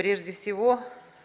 прежде всего